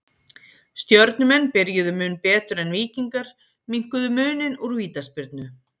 Stjörnumenn byrjuðu mun betur en Víkingar minnkuðu muninn úr vítaspyrnu.